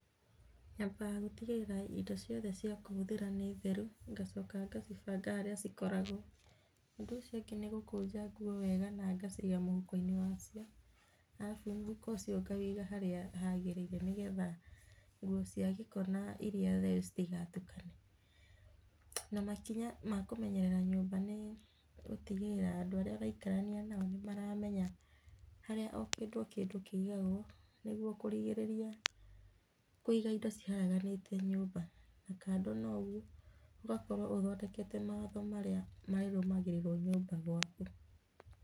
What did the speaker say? Nyambaga gũtigĩrĩra indo ciothe cia kũhũthĩra nĩ theru, ngacoka ngacibanga harĩa cikoragwo. Ũndũ ũcio ũngĩ nĩ gũkũnja nguo wega na ngaciga mũhuko-inĩ wacio, arabu mũhuko ũcio ngawĩiga harĩa hagĩrĩire nĩgetha nguo cia gĩko na iria theru citigatukane. Na makinya ma kũmenyerera nyũmba nĩ, gũtigĩrĩra andũ arĩa ũraikarania nao nĩ maramenya harĩa o kĩndũ o kĩndũ kĩigagwo, nĩguo kũrigĩrĩria kũiga indo ciharaganĩte nyũmba. Na kando noguo, ũgakorwo ũthondekete mawatho marĩa marĩrũmagĩrĩrwo nyũmba gwaku.